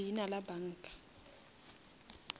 leina la banka